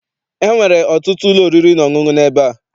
Enwere ọtụtụ ụlọ oriri na ọṅụṅụ n'ebe a.